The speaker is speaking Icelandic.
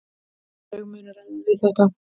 Þau munu ráða við þetta.